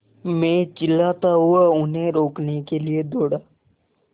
मैं चिल्लाता हुआ उन्हें रोकने के लिए दौड़ा